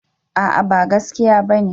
A'a ba gaskiya bane